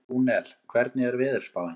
Rúnel, hvernig er veðurspáin?